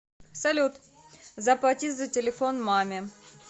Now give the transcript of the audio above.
салют заплати за телефон маме